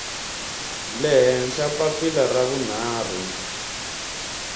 le henhla papila ra vunharhu